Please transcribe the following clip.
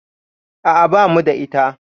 A'a, bamu da ita